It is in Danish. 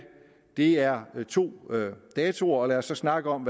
det er to datoer og lad os så snakke om